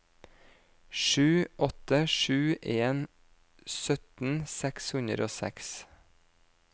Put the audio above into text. sju åtte sju en sytten seks hundre og seks